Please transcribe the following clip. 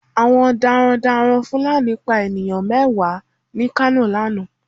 Àwọn daran daran Fulani pa ènìyàn mẹ́wàá ni kano lánàá